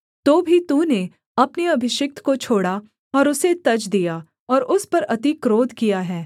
तो भी तूने अपने अभिषिक्त को छोड़ा और उसे तज दिया और उस पर अति क्रोध किया है